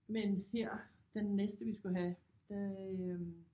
Men her den næste vi skulle have der øh